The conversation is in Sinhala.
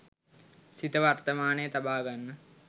සිත වර්තමානයේ තබාගන්න